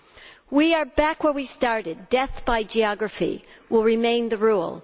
Now we are back where we started death by geography will remain the rule.